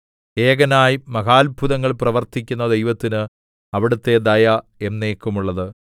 ഏകനായി മഹാത്ഭുതങ്ങൾ പ്രവർത്തിക്കുന്ന ദൈവത്തിന് അവിടുത്തെ ദയ എന്നേക്കുമുള്ളത്